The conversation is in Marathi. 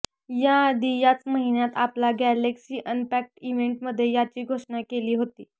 याआधी याच महिन्यात आपला गॅलेक्सी अनपॅक्ड इव्हेंटमध्ये याची घोषणा केली होती